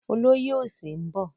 Olóyè òsì ń bọ̀.